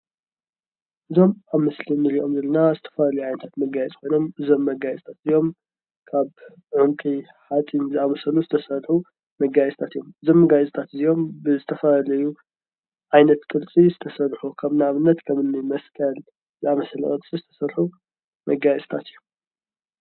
እዞም ኣብ ምስሊ እንርእዮም ዘለና ዝተፈላለዩ ዓይነታት መጋየፅታት ኮይኖም እዞም መጋየፅታት እዚኦም ካብ ዕንቁ፣ ሓፂን ዝኣመሰሉ ዝተሰርሑ መጋየፅታት እዮም። እዞም መጋየፅታት እዚኦም ብዝተፈላለዩ ዓይነት ቅርፂ ዝተሰርሑ ከም ንኣብነት ከምኒ መስቀል ዝኣመሰሉ ቅርፂ ዝተሰርሑ መጋየፅታት እዮም።